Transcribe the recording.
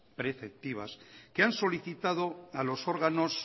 preceptivas que han solicitado a los órganos